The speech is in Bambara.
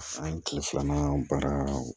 An ye kile filanan baara